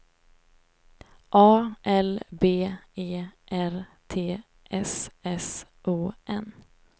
A L B E R T S S O N